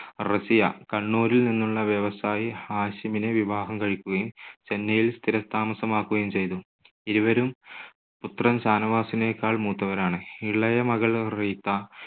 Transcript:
റസിയ കണ്ണൂരിൽ നിന്നുള്ള വ്യവസായി ഹാഷിമിനെ വിവാഹം കഴിക്കുകയും ചെന്നൈയിൽ സ്ഥിരതാമസമാക്കുകയും ചെയ്തു. ഇരുവരും പുത്രൻ ഷാനവാസിനേക്കാൾ മൂത്തവരാണ്. ഇളയമകൾ റീത്ത